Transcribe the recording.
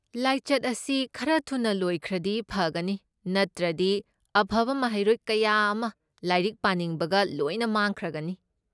ꯂꯥꯏꯆꯠ ꯑꯁꯤ ꯈꯔ ꯊꯨꯅ ꯂꯣꯏꯈ꯭ꯔꯗꯤ ꯐꯒꯅꯤ, ꯅꯠꯇ꯭ꯔꯗꯤ ꯑꯐꯕ ꯃꯍꯩꯔꯣꯏ ꯀꯌꯥ ꯑꯃ ꯂꯥꯏꯔꯤꯛ ꯄꯥꯅꯤꯡꯕꯒ ꯂꯣꯏꯅ ꯃꯥꯡꯈ꯭ꯔꯒꯅꯤ꯫